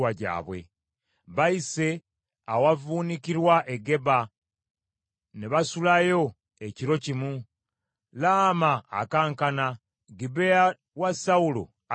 Bayise awavvuunukirwa, e Geba ne basulayo ekiro kimu, Laama akankana, Gibea wa Sawulo adduse.